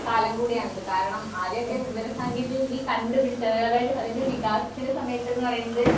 കാലം കൂടിയാണിത്. കാരണം ആദ്യഒക്കെ വിവരസാങ്കേതികവിദ്യ കണ്ടുപിടിച്ചത് അതായത് അതിന്റെ വികാസത്തിന്റെ സമയത്ത്ന്ന് പറയുന്നത്